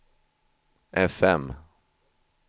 fm